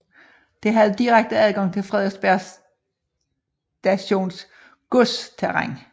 Det havde direkte adgang til Frederiksberg Stations godsterræn